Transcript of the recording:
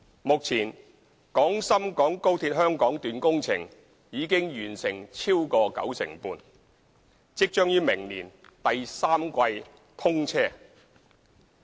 目前，廣深港高鐵香港段工程已完成超過九成半，即將於明年第三季通車。